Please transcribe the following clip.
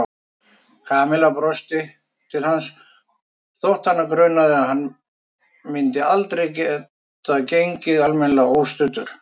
Kamilla brosti til hans þótt hana grunaði að hann myndi aldrei geta gengið almennilega óstuddur.